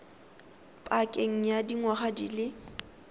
pakeng ya dingwaga di le